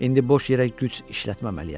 İndi boş yerə güc işlətməməliyəm.